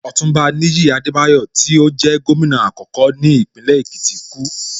Ọ̀túnba Níyì Adebayo tí ó jẹ́ Gómìnà àkọ́kọ́ ní Ìpínlẹ̀ Èkìtì kú